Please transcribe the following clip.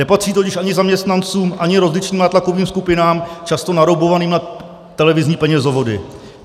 Nepatří totiž ani zaměstnancům, ani rozličným nátlakovým skupinám, často naroubovaným na televizní penězovody.